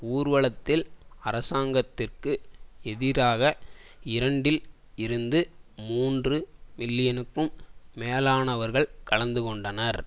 ஊர்வலத்தில் அரசாங்கத்திற்கு எதிராக இரண்டில் இருந்து மூன்று மில்லியனுக்கும் மேலானவர்கள் கலந்துகொண்டனர்